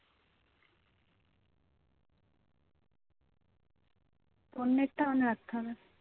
phone net টা on রাখতে হবে